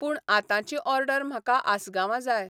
पूण आतांची ऑर्डर म्हाका आसगांवां जाय.